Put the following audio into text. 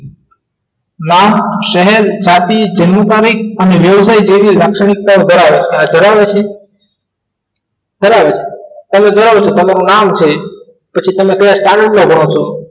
ગામ શહેર સાથી કવિ અને વ્યવસાય જેવી લાક્ષણિકતા ધરાવે છે ધરાવે છે તમે જોયું હશે તમે કોઈનું નામ છે પછી તમે કયા standard માં રોજ છ છ